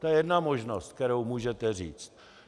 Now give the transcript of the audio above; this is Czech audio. To je jedna možnost, kterou můžete říct.